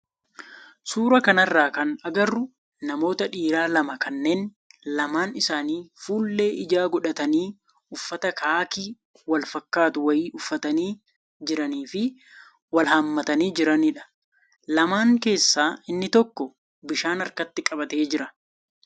suuraa kanarraa kan agarru namoota dhiiraa lama kanneen lamaan isaanii fuullee ijaa godhatanii uffata kaakii wal fakkaatu wayii uffatanii jiranii fi wal hammatanii jiranidha. Lamaan keessaa inni tokko bishaan harkatti qabatee jira.